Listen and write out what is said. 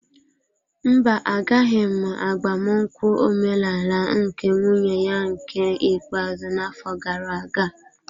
Mba, Agaghị m agbamnkwu ọmenala nke nwunye ya nke ikpeazụ n'afọ gara aga.